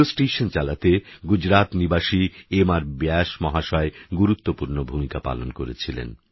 এই radio station চালাতে গুজরাত নিবাসী এম আরব্যাস মহাশয় গুরুত্বপূর্ণ ভূমিকা পালন করেছিলেন